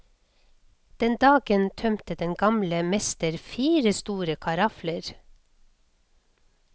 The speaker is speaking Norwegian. Den dagen tømte den gamle mester fire store karafler.